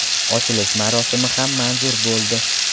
Ochilish marosimi ham manzur bo‘ldi.